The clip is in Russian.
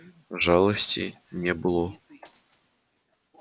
жалости не было